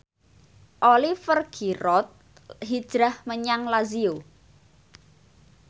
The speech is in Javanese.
Oliver Giroud hijrah menyang Lazio